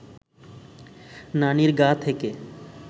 নানির গা থেকে